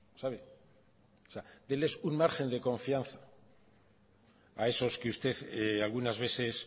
déles un margen de confianza a esos que usted algunas veces